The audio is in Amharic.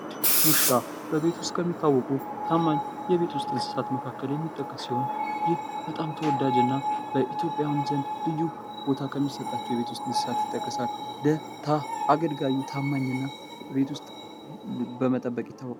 ውሻ በቤት ውስጥ ከሚታወቁ ታማኝ የቤት ውስጥ እንስሳት መካከል የሚጠቀስ ሲሆን ይህ በጣም ተወዳጅ እና በኢትዮጵያውያን ዘንድ ልዩ ቦታ ከሚሰጣቸው የቤት ውስጥ እንስሳት ይጠቀሳል። አገልጋዩ ታማኝና ከቤት ውስጥ በመጠበቅ ይታወቃል።